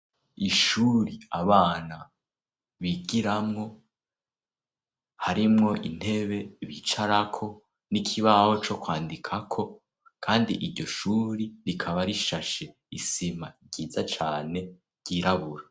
Ishure abana bigiramwo harimwo intebe bicarako n'ikibaho co kwandikako kandi iryo shure rikaba rishashe isima ryiza cane ryirabura.